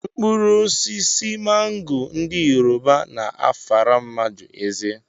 Mkpụrụosisi mango ndị yoruba na-afara mmadụ eze